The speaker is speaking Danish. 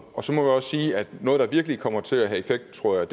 så må vi også sige at noget der virkelig kommer til at have effekt tror jeg